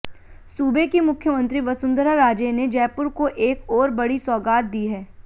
सूबे की मुख्यमंत्री वसुंधरा राजे ने जयपुर को एक ओर बड़ी सौगात दी है